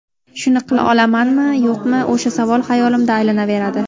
Shuni qila olamanmi, yo‘qmi, o‘sha savol xayolimda aylanaveradi.